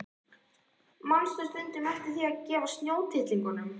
Manstu stundum eftir því að gefa snjótittlingunum?